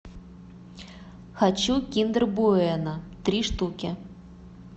хочу киндер буэно три штуки